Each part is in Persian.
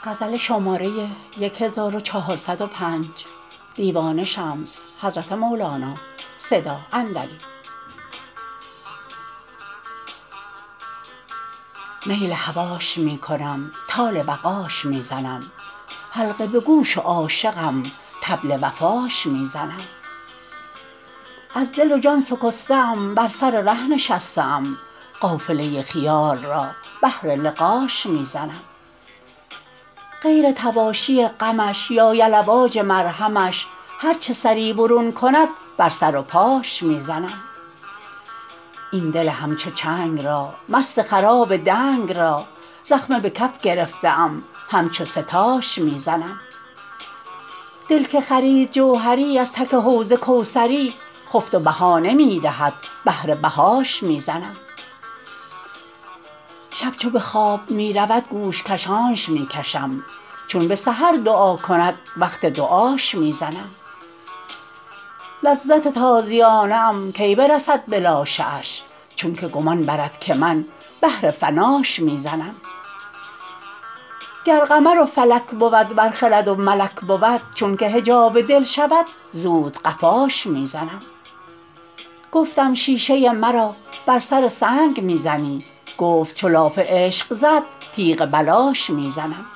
میل هواش می کنم طال بقاش می زنم حلقه به گوش و عاشقم طبل وفاش می زنم از دل و جان سکسته ام بر سر ره نشسته ام قافله خیال را بهر لقاش می زنم غیر طواشی غمش یا یلواج مرهمش هر چه سری برون کند بر سر و پاش می زنم این دل همچو چنگ را مست خراب دنگ را زخمه به کف گرفته ام همچو سه تاش می زنم دل که خرید جوهری از تک حوض کوثری خفت و بها نمی دهد بهر بهاش می زنم شب چو به خواب می رود گوش کشانش می کشم چون به سحر دعا کند وقت دعاش می زنم لذت تازیانه ام کی برسد به لاشه اش چون که گمان برد که من بهر فناش می زنم گر قمر و فلک بود ور خرد و ملک بود چونک حجاب دل شود زود قفاش می زنم گفتم شیشه مرا بر سر سنگ می زنی گفت چو لاف عشق زد تیغ بلاش می زنم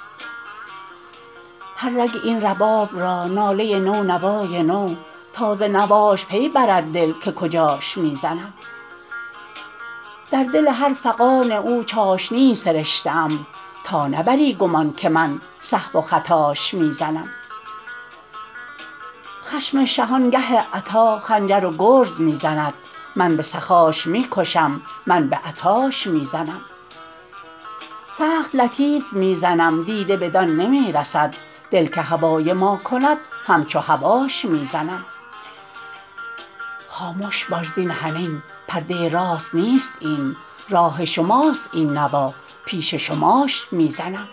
هر رگ این رباب را ناله نو نوای نو تا ز نواش پی برد دل که کجاش می زنم در دل هر فغان او چاشنی سرشته ام تا نبری گمان که من سهو و خطاش می زنم خشم شهان گه عطا خنجر و گرز می زند من به سخاش می کشم من به عطاش می زنم سخت لطیف می زنم دیده بدان نمی رسد دل که هوای ما کند همچو هواش می زنم خامش باش زین حنین پرده راست نیست این راه شماست این نوا پیش شماش می زنم